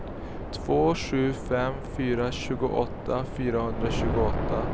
två sju fem fyra tjugoåtta fyrahundratjugoåtta